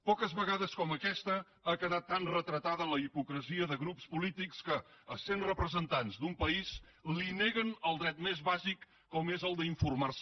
poques vegades com aquesta ha quedat tant retratada la hipocresia de grups polítics que essent representants d’un país li neguen el dret més bàsic com és el d’informar se